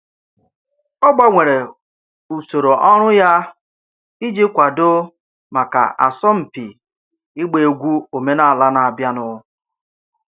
Ọ gbanwere usoro ọrụ ya iji kwadoo maka asọmpi ịgba egwu omenala na-abịanụ.